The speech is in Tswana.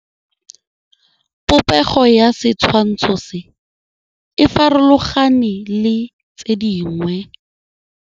Popêgo ya setshwantshô se, e farologane le tse dingwe.